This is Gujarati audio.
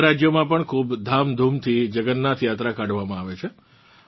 બીજા રાજ્યોમાં પણ ખૂબ ધૂમધામથી જગન્નાથ યાત્રા કાઢવામાં આવે છે